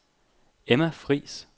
Emma Friis